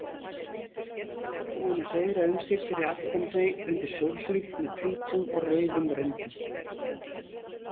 Búin að hreiðra um sig fyrir aftan þau undir sólhlíf með hvítum og rauðum röndum.